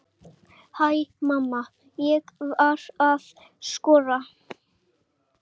Hæ mamma, ég var að skora!